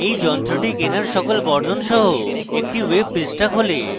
এই যন্ত্রটি কেনার সকল বর্ণন সহ একটি web পৃষ্ঠা খোলে